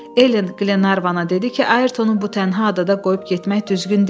Elen Qlenarvana dedi ki, Ayrtonu bu tənha adada qoyub getmək düzgün deyil.